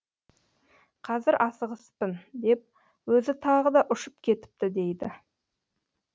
қазір асығыспын деп өзі тағы да ұшып кетіпті дейді